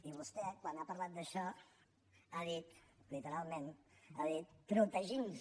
i vostè quan ha parlat d’això ha dit literalment ha dit protegint nos